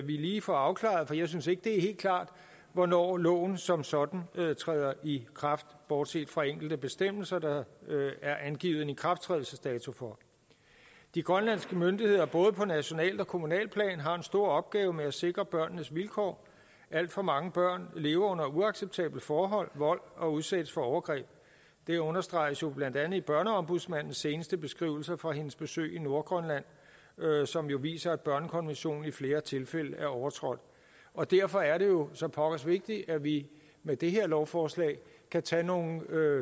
lige får afklaret det for jeg synes ikke det er helt klart hvornår loven som sådan træder i kraft bortset fra enkelte bestemmelser der er angivet en ikrafttrædelsesdato for de grønlandske myndigheder både på nationalt og kommunalt plan har en stor opgave med at sikre børnenes vilkår alt for mange børn lever under uacceptable forhold og vold og udsættes for overgreb det understreges blandt andet i børneombudsmandens seneste beskrivelser fra hendes besøg i nordgrønland som jo viser at børnekonventionen i flere tilfælde er overtrådt og derfor er det jo så pokkers vigtigt at vi med det her lovforslag kan tage nogle